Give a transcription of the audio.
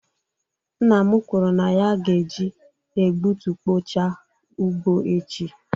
Nna m kwuru na ya ga-eji egbutukpochaa ugbo echi.